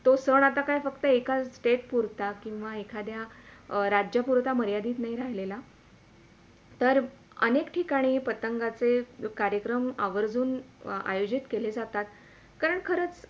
तो सण आता काय फक्त एकाच State पुरता किवा एखादा राज्यापुरता मर्यादित नाही राहिलेला तर अनेक ठिकाणी पतंगाचे कार्यक्रम आवर्जून आयोजित केल्या जातात कारण खरंच